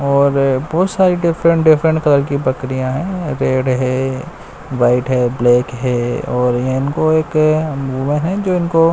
और बहुत सारी डिफरेंट डिफरेंट कलर की बकरियां हैं रेड है व्हाइट है ब्लैक है और इनको एक वो है जो इनको--